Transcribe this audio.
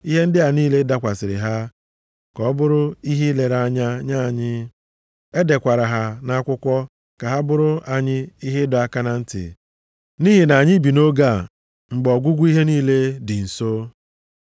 Ihe ndị a niile dakwasịrị ha ka ọ bụrụ ihe ilere anya nye anyị. E dekwara ha nʼakwụkwọ ka ha bụrụ anyị ihe ịdọ aka na ntị nʼihi na anyị bi nʼoge a mgbe ọgwụgwụ ihe niile dị nso.